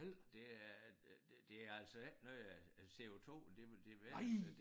Det er øh øh det altså ikke noget af af CO2'en det vel det i hvert fald